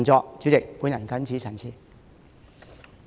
代理主席，我謹此陳辭。